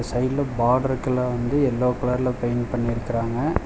சைடுல பாட்ருக்கெல்லா வந்து எல்லோ கலர்ல பெயிண்ட் பண்ணிருக்கறாங்க.